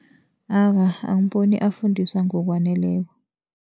Awa, angiboni afundiswa ngokwaneleko.